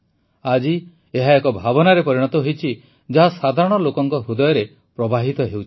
ଆଜି ଏହା ଏକ ଭାବନାରେ ପରିଣତ ହୋଇଛି ଯାହା ସାଧାରଣ ଲୋକଙ୍କ ହୃଦୟରେ ପ୍ରବାହିତ ହେଉଛି